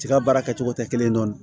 Tiga baara kɛcogo tɛ kelen ye nɔ